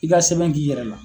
I ka sɛmɛn k'i yɛrɛ la.